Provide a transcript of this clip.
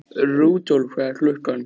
Rudolf, hvað er klukkan?